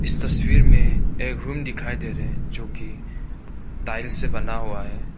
इस तस्वीर में एक रूम दिखाई दे रहा है जो कि टाइल्स से बना हुआ है।